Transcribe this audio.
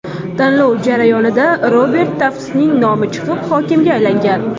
Tanlov jarayonida Robert Taftsning nomi chiqib, hokimga aylangan.